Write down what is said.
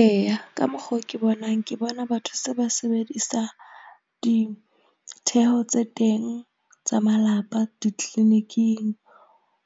Eya ka mokgo ke bonang ke bona batho se ba sebedisa ditheho tse teng tsa malapa di-clinic-ing